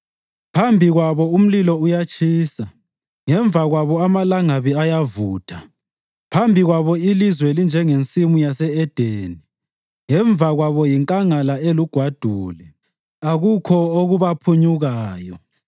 Phambi kwabo umlilo uyatshisa, ngemva kwabo amalangabi ayavutha. Phambi kwabo ilizwe linjengensimu yase-Edeni ngemva kwabo yinkangala elugwadule, akukho okubaphunyukayo.